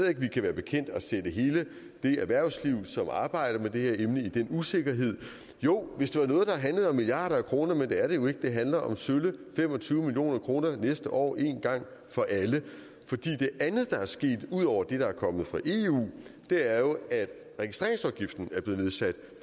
at vi kan være bekendt at sætte hele det erhvervsliv som arbejder med det her emne i den usikkerhed jo hvis det var noget der handlede om milliarder af kroner men det er det jo ikke det handler om sølle fem og tyve million kroner næste år en gang for alle det andet der er sket ud over det der er kommet fra eu er jo at registreringsafgiften er blevet nedsat